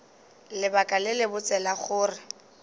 lebaka le lebotse la gore